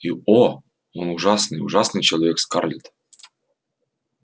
и о он ужасный ужасный человек скарлетт